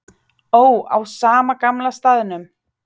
Ó, á sama gamla staðnum.